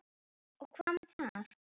Og hvað með það?